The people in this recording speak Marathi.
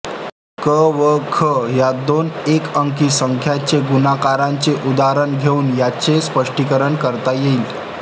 क व ख या दोन एकअंकी संख्यांच्या गुणाकाराचे उदाहरण घेऊन याचे स्पष्टीकरण करता येईल